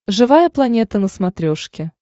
живая планета на смотрешке